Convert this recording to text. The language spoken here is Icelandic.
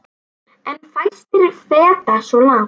En fæstir feta svo langt.